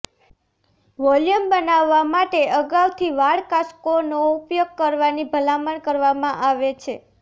volume બનાવવા માટે અગાઉથી વાળ કાંસકોનો ઉપયોગ કરવાની ભલામણ કરવામાં આવે છે